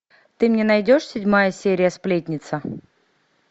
ты мне найдешь седьмая серия сплетница